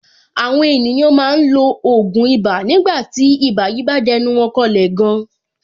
Àwọn ènìyàn máa ń lo ògùn ibà nígbà tí ibà yìí bá dẹnu wọn kọlẹ̀ gan.